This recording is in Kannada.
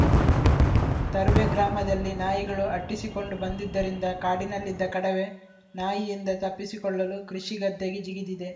ತರುವೆ ಗ್ರಾಮದಲ್ಲಿ ನಾಯಿಗಳು ಅಟ್ಟಿಸಿಕೊಂಡು ಬಂದಿದ್ದರಿಂದ ಕಾಡಿನಲ್ಲಿದ್ದ ಕಡವೆ ನಾಯಿಯಿಂದ ತಪ್ಪಿಸಿಕೊಳ್ಳಲು ಕೃಷಿ ಗದ್ದೆಗೆ ಜಿಗಿದಿದೆ